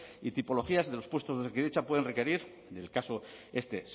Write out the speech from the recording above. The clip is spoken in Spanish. y tipologías de los puestos de osakidetza pueden requerir del caso este